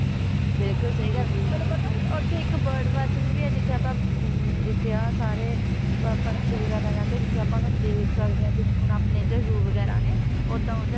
ਬਿਲਕੁਲ ਸਹੀ ਗੱਲ ਤੁਹਾਨੂੰ ਪਤਾ ਉੱਥੇ ਇੱਕ bird watching ਵੀ ਹੈ ਜਿੱਥੇ ਆਪਾਂ ਅਮ ਜਿੱਥੇ ਆਹ ਸਾਰੇ ਅਹ ਪੰਛੀ ਵਗ਼ੈਰਾ ਰਹਿੰਦੇ ਜਿੱਥੇ ਆਪਾਂ ਉਹਨਾਂ ਨੂੰ ਦੇਖ ਸਕਦੇ ਹਾਂ ਜਿਵੇਂ ਹੁਣ ਆਪਣੇ ਇੱਧਰ zoo ਵਗ਼ੈਰਾ ਨੇ ਓਦਾਂ ਉੱਧਰ